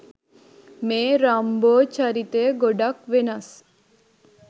මේ රම්බෝ චරිතය ගොඩක් වෙනස්.